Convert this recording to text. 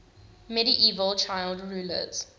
medieval child rulers